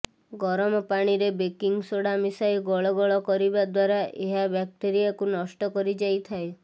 ଗରମ ପାଣିର baking soda ମିଶାଇ ଗଳ ଗଳ କରିବା ଦ୍ୱାରା ଏହା ବ୍ୟାକ୍ଟେରିଆକୁ ନଷ୍ଟ କରି ଯାଇଥାଏ